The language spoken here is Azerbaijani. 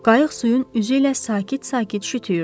Qayıq suyun üzü ilə sakit-sakit şütüyürdü.